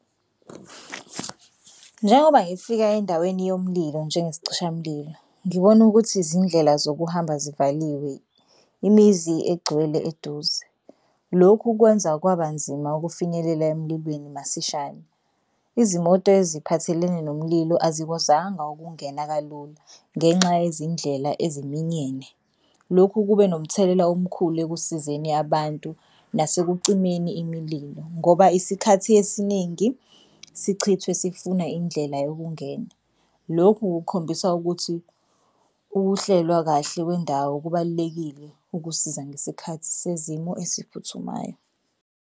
Njengoba ngifika endaweni yomlilo njengesicishamlilo, ngibona ukuthi izindlela zokuhamba zivaliwe imizi igcwele eduze. Lokhu kwenza kwaba nzima ukufinyelela emlilweni masishane. Izimoto eziphathelene nomlilo azikwazanga ukungena kalula ngenxa yezindlela eziminyene. Lokhu kube nomthelela omkhulu ekusizeni abantu nasekucimeni imililo ngoba isikhathi esiningi sichithwe sifuna indlela yokungena. Lokhu kukhombisa ukuthi ukuhlelwa kahle kwendawo kubalulekile ukusiza ngesikhathi sezimo esiphuthumayo.